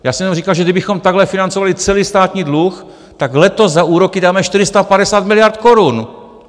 Já jsem jenom říkal, že kdybychom takhle financovali celý státní dluh, tak letos za úroky dáme 450 miliard korun!